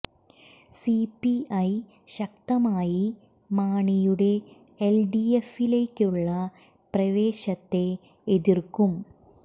C P I ശക്തമായി മാണിയുടെ L D എഫിലേക്കുളള പ്രവേശത്തെ എതിര്ക്കും